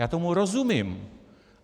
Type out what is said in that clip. Já tomu rozumím.